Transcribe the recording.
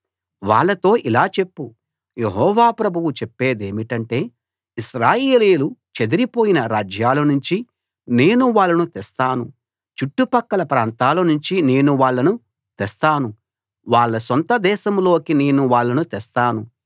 వాళ్ళతో ఇలా చెప్పు యెహోవా ప్రభువు చెప్పేదేమిటంటే ఇశ్రాయేలీయులు చెదరిపోయిన రాజ్యాలనుంచి నేను వాళ్ళను తెస్తాను చుట్టుపక్కల ప్రాంతాలనుంచి నేను వాళ్ళను తెస్తాను వాళ్ళ సొంత దేశంలోకి నేను వాళ్ళను తెస్తాను